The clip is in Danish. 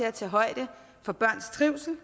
at tage højde for børns trivsel